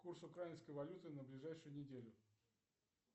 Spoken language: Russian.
курс украинской валюты на ближайшую неделю